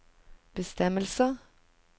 bestemmelser